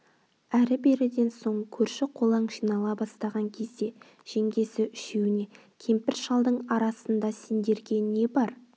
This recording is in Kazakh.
әрі-беріден соң көрші-қолаң жинала бастаған кезде жеңгесі үшеуіне кемпір-шалдың арасында сендерге не бар